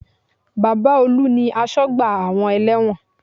Baba Olu ni asọ́gbà àwọn ẹlẹ́wọ̀n